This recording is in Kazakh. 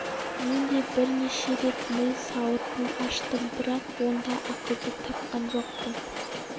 мен де бірнеше рет ми сауытын аштым бірақ онда ақылды тапқан жоқпын